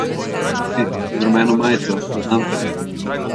Ti, z rumeno majico, poznam te!